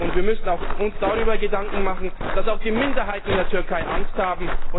Wir müssen uns auch darüber Gedanken machen, dass auch die Minderheiten in der Türkei Angst haben.